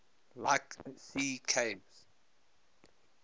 like sea caves